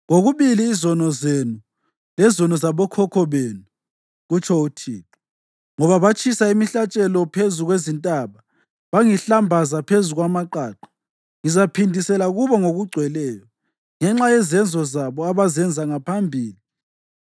kokubili izono zenu lezono zabokhokho benu,” kutsho uThixo. “Ngoba batshisa imihlatshelo phezu kwezintaba bangihlambaza phezu kwamaqaqa. Ngizaphindisela kubo ngokugcweleyo ngenxa yezenzo zabo abazenza ngaphambili.”